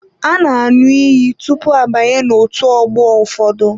A na aṅụ iyi tụpụ abanye otú ọgbọ ụfọdụ.